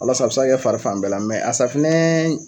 Walasa a se ka kɛ fari fan bɛɛ la mɛ a safinɛ